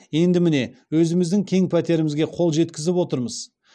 енді міне өзіміздің кең пәтерімізге қол жетізіп отырмыз